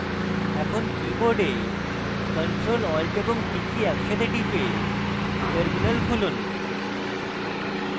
এখন keyboard ctrl alt এবং t key একসাথে টিপে terminal খুলুন